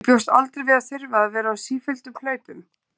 Ég bjóst aldrei við að þurfa að vera á sífelldum hlaupum.